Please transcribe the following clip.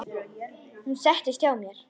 Hún settist hjá mér.